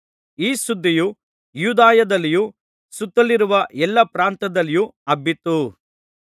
ಈ ಸುದ್ದಿಯು ಯೂದಾಯದಲ್ಲಿಯೂ ಸುತ್ತಲಿರುವ ಎಲ್ಲಾ ಪ್ರಾಂತ್ಯದಲ್ಲಿಯೂ ಹಬ್ಬಿತು